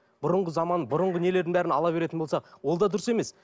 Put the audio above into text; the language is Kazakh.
бұрынғы заманның бұрынғы нелерін бәрін ала беретін болсақ ол да дұрыс емес